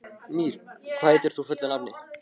Mír, hvað heitir þú fullu nafni?